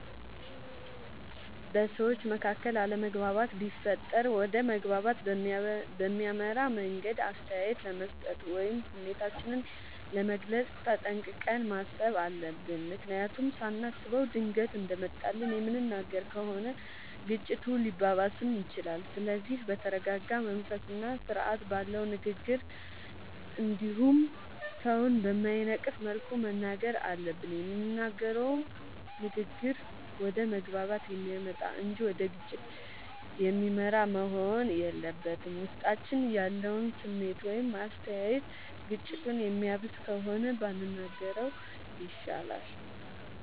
በሠዎች መካከል አለመግባባት ቢፈጠር ወደ መግባባት በሚያመራ መንገድ አስተያየት ለመስጠት ወይም ስሜታችንን ለመግለፅ ተጠንቅቀን ማሠብ አለብ። ምክንያቱም ሳናስበው ድንገት እንደመጣልን የምንናገር ከሆነ ግጭቱ ሊባባስም ይችላል። ስለዚህ በተረረጋ መንፈስና ስርአት ባለው ንግግር እንዲሁም ሠውን በማይነቅፍ መልኩ መናገር አለብን። የምንናገረውም ንግግር ወደ መግባባት የሚያመጣ እንጂ ወደ ግጭት የሚመራ መሆን የለበትም። ውስጣችን ያለው ስሜት ወይም አስተያየት ግጭቱን የሚያባብስ ከሆነ ባንናገረው ይሻላል።